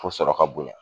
Fo sɔrɔ ka bonya